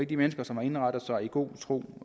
de mennesker som har indrettet sig i god tro